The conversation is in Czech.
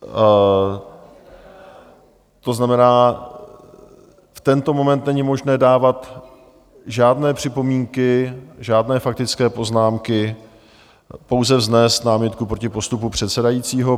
To znamená, v tento moment není možné dávat žádné připomínky, žádné faktické poznámky, pouze vznést námitku proti postupu předsedajícího...